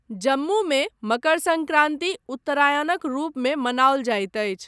जम्मूमे मकर सन्क्रान्ति 'उत्तरायनक' रूपमे मनाओल जाइत अछि।